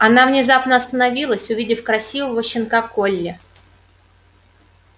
она внезапно остановилась увидев красивого щенка колли